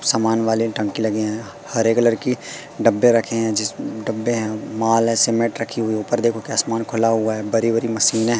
समान वाली टंकी लगे हैं हरे कलर कि डब्बे रखे हैं जिस डब्बे हैं माल हैं सीमेंट रखी हुई ऊपर देखो कि आसमान खुला हुआ है बरी बरी मशीनें हैं।